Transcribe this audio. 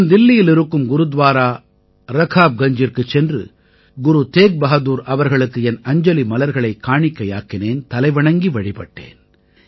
நான் தில்லியில் இருக்கும் குருத்வாரா ரகாப்கஞ்ஜிற்குச் சென்று குரு தேக் பஹாதுர் அவர்களுக்கு என் அஞ்சலி மலர்களைக் காணிக்கையாக்கினேன் தலைவணங்கி வழிபட்டேன்